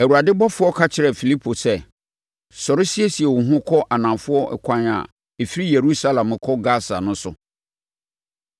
Awurade ɔbɔfoɔ ka kyerɛɛ Filipo sɛ, “Sɔre siesie wo ho kɔ anafoɔ ɛkwan a ɛfiri Yerusalem kɔ Gasa no so.”